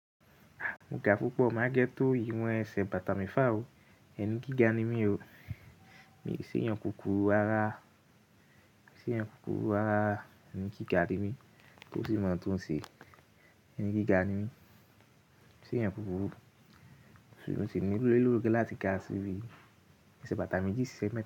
Mo ga pupọ̀ má ga tò ìwọ̀n ẹsẹ̀ bàtà mi fa o. Ẹni kí ga ni mí o, mi sì yan kùkúrú ara, mi seeyan kùkúrú rara ni kí ga ni mí torí mo tún ṣe ẹni kí ga ni mí. Mi seeyan kùkúrú, ṣùgbọ́n sì ní lero láti ga sí bi ẹsẹ̀ bàtà me jí ṣẹ́.